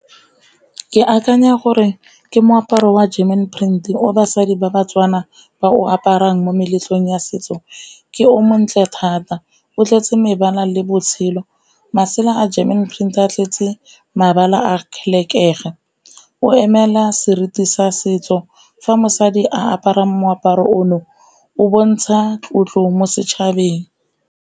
Ke akanya gore ke moaparo wa German print o basadi ba baTswana ba o aparang mo meletlong ya setso, ke o montle thata o tletse mebala le botshelo. Masela a German print a tletse mabala a , o emela seriti sa setso fa mosadi a apara moaparo ono o bontsha tlotlo mo setšhabeng.